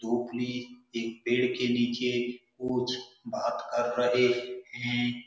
ढोकली एक पेड़ के नीचे कुछ बात कर रहे हैं।